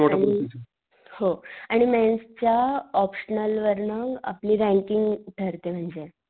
आणि हो आणि मेंस च्या ऑप्शनल वरन आपली रँकिंग ठरते म्हणजे.